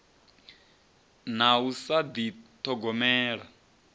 na u sa ḓi ṱhogomela